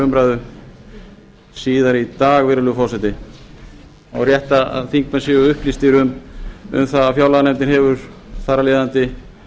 umræðu síðar í dag virðulegi forseta og er rétt að þingmenn séu upplýstir um það að fjárlaganefndin hefur þar af leiðandi